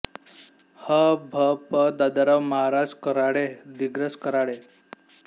ह भ प दादाराव महाराज कऱ्हाळे दिग्रस कऱ्हाळे